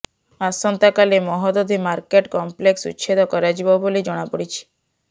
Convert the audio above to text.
ଆସନ୍ତାକାଲି Mahodadhi market complex ଉଚ୍ଛେଦ କରାଯିବ ବୋଲି ଜଣାପଡ଼ିଛି